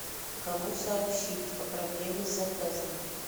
кому сообщить о проблеме с заказом